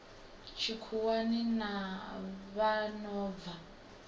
tshikhuwani na vha no bva